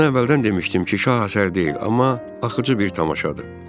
Ona əvvəldən demişdim ki, şah əsər deyil, amma axıcı bir tamaşadır.